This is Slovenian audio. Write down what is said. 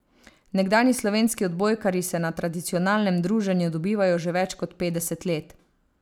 Nekdanji slovenski odbojkarji se na tradicionalnem druženju dobivajo že več kot petdeset let.